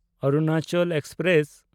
Arunachal express